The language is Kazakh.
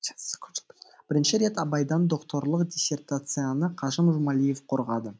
бірінші рет абайдан докторлық диссертацияны қажым жұмалиев қорғады